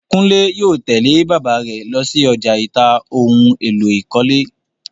Kúnlè yóò tẹ̀lẹ́ bàbáà rẹ̀ lọsí ọjà ìta ohun èlò ìkọ́lé.